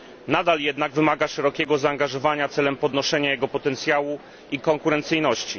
Nadal jednak wymaga szerokiego zaangażowania celem podnoszenia jego potencjału i konkurencyjności.